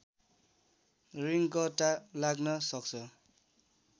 रिङ्गटा लाग्न सक्छ